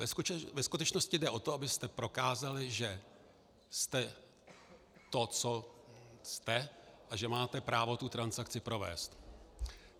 Ve skutečnosti jde o to, abyste prokázali, že jste to, co jste, a že máte právo tu transakci provést.